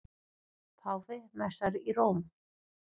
Páfi messar í Róm